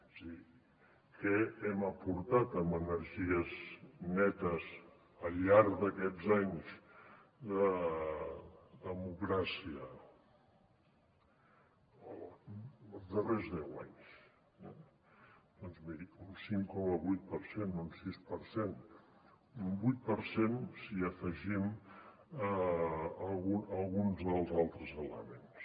és a dir què hem aportat en energies netes al llarg d’aquests anys de democràcia els darrers deu anys doncs miri un cinc coma vuit per cent un sis per cent un vuit per cent si hi afegim alguns dels altres elements